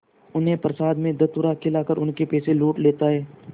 उन्हें प्रसाद में धतूरा खिलाकर उनके पैसे लूट लेता है